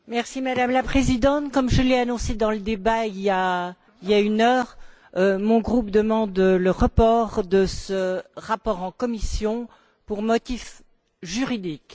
Madame la Présidente, comme je l'ai annoncé dans le débat, il y a une heure, mon groupe demande le renvoi de ce rapport en commission pour motif juridique.